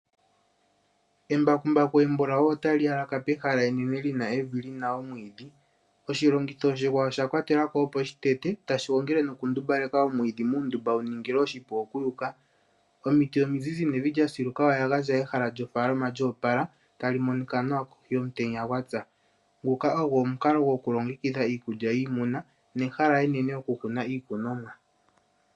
Embakumbaku embulawu ota li yalaka pehala enene li na evi li na omwiidhi. Oshilongitho oshikwawo osha kwatelwa ko opo shi tete, tashi gongele nokundumbaleka omwiidhi muundumba wuningile oshipu okuyuka. Omiti omizizi nevi lyasiluka oya gandja ehala lyofaalama lyoopala ta li monika nawa kohi yomutenya gwatsa. Nguka ogo omukalo gokulongekidha iikulya yiimuna nehala enene okukuna iikunomwa.